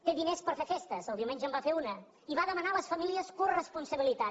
té diners per fer festes el diumenge en va fer una i va demanar a les famílies coresponsabilitat